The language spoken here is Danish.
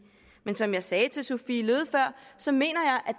men som jeg sagde til fru sophie løhde før så mener jeg at